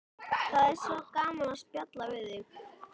Það er svo gaman að spjalla við þig.